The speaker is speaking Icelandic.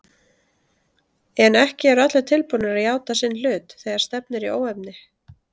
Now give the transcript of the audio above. En ekki eru allir tilbúnir að játa sinn hlut þegar stefnir í óefni.